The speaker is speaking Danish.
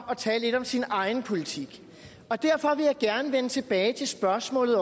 at tale lidt om sin egen politik og derfor vil jeg gerne vende tilbage til spørgsmålet